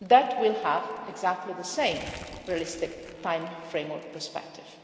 which will have exactly the same realistic timeframe and perspective.